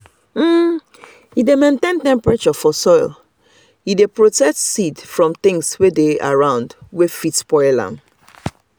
e dey maintain temperature for soil e dey protect seed from things wey dey around wey fit spoil am.